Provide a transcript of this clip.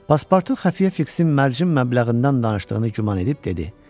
Paspartu xəfiyə Fiksin mərcim məbləğindən danışdığını güman edib dedi.